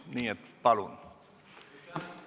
Nii et palun!